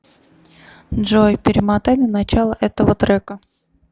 джой перемотай на начало этого трека